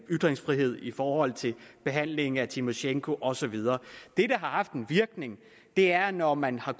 ytringsfrihed i forhold til behandlingen af tymosjenko og så videre det der har haft en virkning er når man har